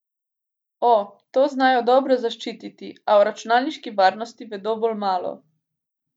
O, to znajo dobro zaščititi, a o računalniški varnosti vedo bolj malo.